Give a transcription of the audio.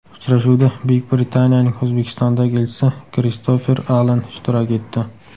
Uchrashuvda Buyuk Britaniyaning O‘zbekistondagi elchisi Kristofer Alan ishtirok etdi.